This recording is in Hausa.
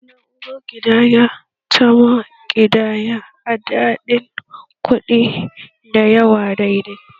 Na'urar ƙidaya tama ƙidaya adadin kuɗi dayawa daidai